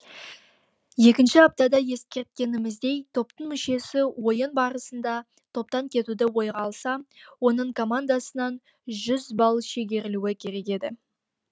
екінші аптада ескерткеніміздей топтың мүшесі ойын барысында топтан кетуді ойға алса оның командасынан жүз балл шегерілуі керек еді